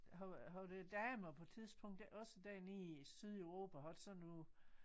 Har havde æ damer på et tidspunkt ikke også dernede i Sydeuropa haft sådan noget